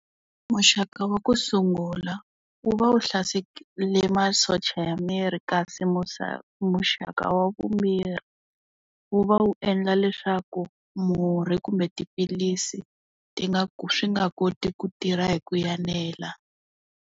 Muxaka wa ku sungula, wu va wu hlaserile masocha ya miri kasi muxaka wa vumbirhi, wu va wu endla leswaku murhi kumbe tiphilisi, ti nga swi nga koti ku tirha hi ku enela.